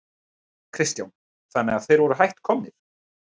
Kristján: Þannig að þeir voru hætt komnir?